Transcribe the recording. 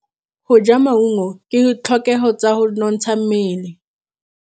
Go ja maungo ke ditlhokegô tsa go nontsha mmele.